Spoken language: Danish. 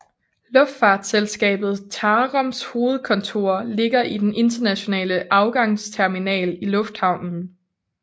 Luftfartsselskabet TAROMs hovedkontor ligger i den internationale afgangsterminal i lufthavnen